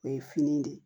O ye fini de ye